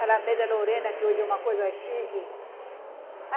Alameda Lorena, que hoje é uma coisa chique.